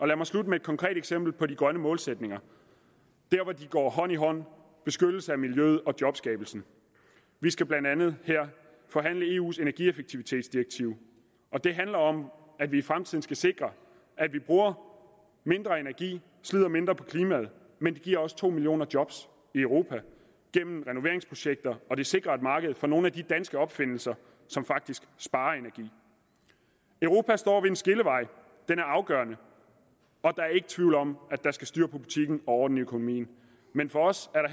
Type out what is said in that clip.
lad mig slutte med et konkret eksempel på de grønne målsætninger der hvor de går hånd i hånd beskyttelse af miljøet og jobskabelse vi skal blandt andet her forhandle eus energieffektivitetsdirektiv og det handler om at vi i fremtiden skal sikre at vi bruger mindre energi og slider mindre på klimaet men det giver også to millioner job i europa gennem renoveringsprojekter og det sikrer et marked for nogle af de danske opfindelser som faktisk sparer energi europa står ved en skillevej den er afgørende og der er ikke tvivl om at der skal styr på butikken og orden i økonomien men for os